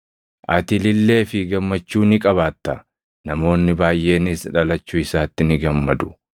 Ati ilillee fi gammachuu ni qabaatta; namoonni baayʼeenis dhalachuu isaatti ni gammadu;